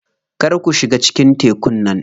Kar ku shiga cikin tekun nan.